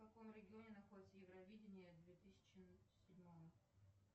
в каком регионе находится евровидение две тысячи седьмого